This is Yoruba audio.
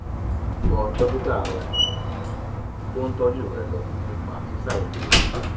tọ́ dókítà rẹ tó ń tọ́jú rẹ lọ nípa ṣíṣàì lo oògùn